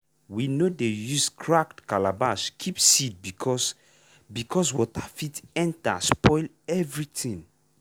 we no dey use cracked calabash keep seed because because water fit enter spoil everything.